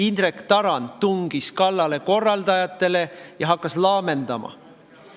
Indrek Tarand tungis kallale korraldajatele ja hakkas laamendama.